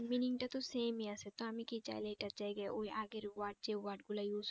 meaning টা তো same আছে তা আমি কি চাইলে এটার জায়গায় ওই আগের word যে word গুলা use